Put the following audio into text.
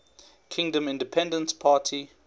kingdom independence party